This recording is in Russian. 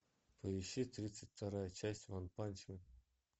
поищи тридцать вторая часть ванпанчмен